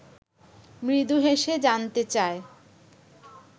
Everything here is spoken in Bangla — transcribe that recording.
মৃদু হেসে জানতে চায়